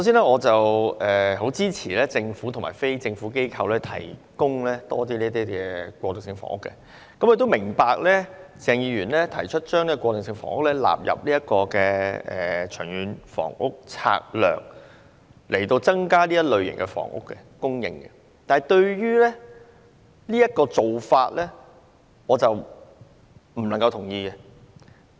我很支持政府和非政府機構提供更多過渡性房屋，亦明白鄭議員提出把過渡性房屋納入《長遠房屋策略》，從而增加這類房屋供應，但對於這種做法，我不能同意。